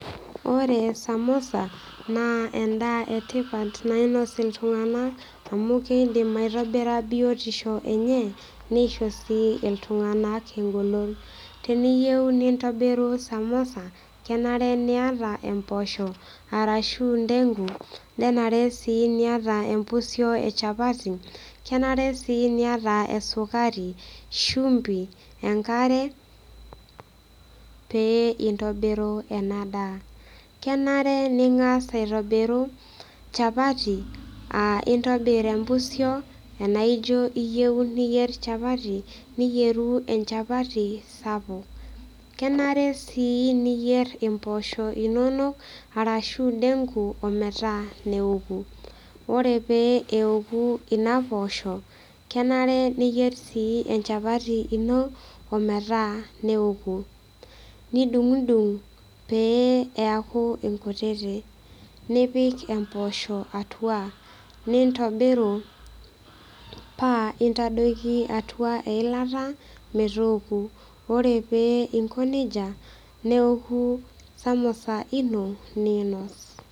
Ore samosa naa endaa etipat nainos iltung'anak amu keidim aitobira biotisho enye nisho sii iltung'anak engolon teniyieu nintobiru samosa kenare niata empoosho arashu ndengu nenare sii niata empusio e chapati kenare sii niata esukari shumbi enkare pee intobiru ena daa kenare ning'as aitobiru chapati uh intobirr empusio enaijo iyieu niyierr chapati niyieru enchapati sapuk kenare sii niyierr impoosho inonok arashu denku ometaa neoku ore pee eoku ina poosho kenare niyierr sii enchapati ino ometaa neoku nidung'udung pee eaku inkutiti nipik emposho atua nintobiru paa intadoiki atua eilata metoku ore pee inko nejia neoku samosa ino niinos.